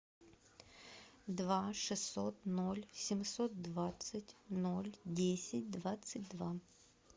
два шестьсот ноль семьсот двадцать ноль десять двадцать два